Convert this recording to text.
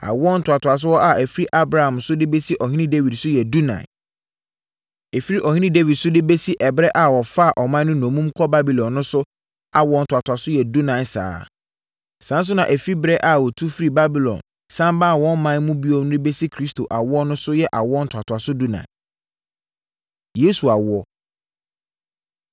Awoɔ ntoatoasoɔ a ɛfiri Abraham so de bɛsi Ɔhene Dawid so yɛ dunan. Ɛfiri Ɔhene Dawid so de bɛsi ɛberɛ a wɔfaa ɔman no nnommum kɔɔ Babilon no nso awoɔ ntoatoasoɔ yɛ dunan saa ara. Saa ara nso na ɛfiri ɛberɛ a wɔtu firii Babilon sane baa wɔn ɔman mu bio no de bɛsi Kristo awoɔ so nso yɛ awoɔ ntoatoasoɔ dunan. Yesu Awoɔ